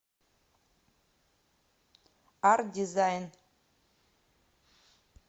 арт дизайн